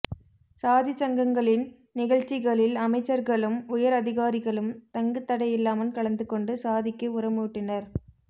சாதிச் சங்கங்களின் நிகழ்ச்சி களில் அமைச்சர்களும் உயர் அதிகாரிகளும் தங்குதடையில்லாமல் கலந்துகொண்டு சாதிக்கு உரமூட்டினர்